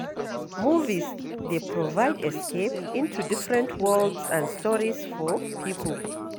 Movies dey provide escape into different worlds and stories for people.